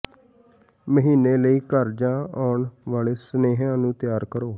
ਮਹੀਨੇ ਲਈ ਘਰ ਜਾਂ ਆਉਣ ਵਾਲੇ ਸੁਨੇਹਿਆਂ ਨੂੰ ਤਿਆਰ ਕਰੋ